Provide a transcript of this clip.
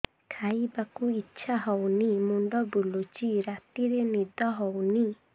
ଖାଇବାକୁ ଇଛା ହଉନି ମୁଣ୍ଡ ବୁଲୁଚି ରାତିରେ ନିଦ ହଉନି